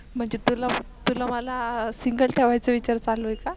म्हणजे तुला तुला मला Single ठेवायचा विचार चालू आहे का?